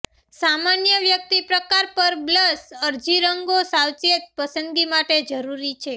સામાન્ય વ્યક્તિ પ્રકાર પર બ્લશ અરજી રંગો સાવચેત પસંદગી માટે જરૂરી છે